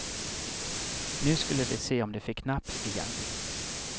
Nu skulle de se om de fick napp igen.